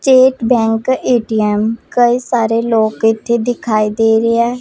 ਤੇ bank ATM ਕੋਈ ਸਾਰੇ ਲੋਕ ਇਥੇ ਦਿਖਾਏ ਦੇ ਰਹੇ ਹੈ।